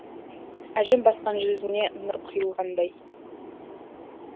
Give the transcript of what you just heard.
әжім басқан жүзіне нұр құйылғандай